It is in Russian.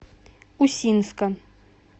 усинска